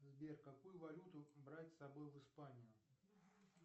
сбер какую валюту брать с собой в испанию